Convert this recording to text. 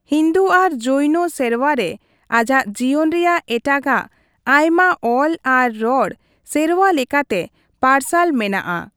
ᱦᱤᱱᱫᱩ ᱟᱨ ᱡᱚᱭᱱᱚ ᱥᱮᱨᱣᱟ ᱨᱮ ᱟᱡᱟᱜ ᱡᱤᱭᱚᱱ ᱨᱮᱭᱟᱜ ᱮᱴᱟᱜᱟᱜ ᱟᱭᱢᱟ ᱚᱞ ᱟᱨ ᱨᱚᱲ ᱥᱮᱨᱣᱟ ᱞᱮᱠᱟᱛᱮ ᱯᱟᱨᱥᱟᱞ ᱢᱮᱱᱟᱜᱼᱟ ᱾